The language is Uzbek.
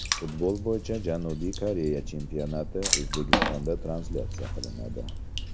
Futbol bo‘yicha Janubiy Koreya chempionati O‘zbekistonda translyatsiya qilinadi.